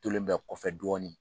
Tolen bɛ kɔfɛ dɔɔnin